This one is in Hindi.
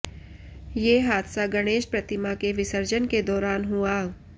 ये हादसा गणेश प्रतिमा के विसर्जन के दौरान हुआ